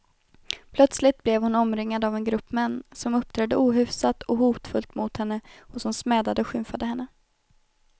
Plötsligt blev hon omringad av en grupp män, som uppträdde ohyfsat och hotfullt mot henne och som smädade och skymfade henne.